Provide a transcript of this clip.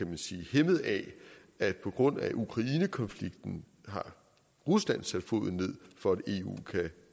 hæmmet af at på grund af ukrainekonflikten har rusland sat foden ned for at eu kan